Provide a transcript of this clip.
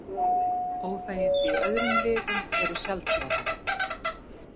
Óþægindi í öðrum liðum eru sjaldgæfari.